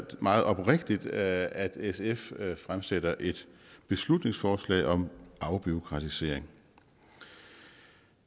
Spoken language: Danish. meget oprigtigt at sf fremsætter et beslutningsforslag om afbureaukratisering